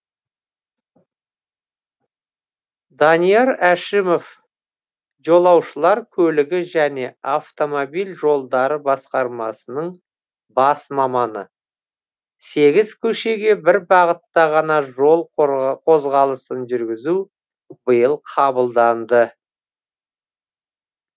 данияр әшімов жолаушылар көлігі және автомобиль жолдары басқармасының бас маманы сегіз көшеге бір бағытта ғана жол қозғалысын жүргізу биыл қабылданды